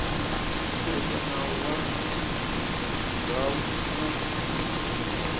ku tirhisa nawu wa ndzhavuko